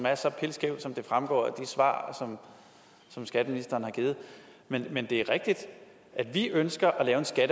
er så pilskævt som det fremgår af de svar som skatteministeren har givet men men det er rigtigt at vi ønsker